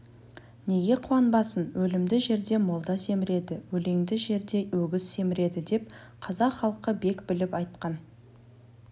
неге қуанбасын өлімді жерде молда семіреді өлеңді жерде өгіз семіреді деп қазақ халқы бек біліп айтқан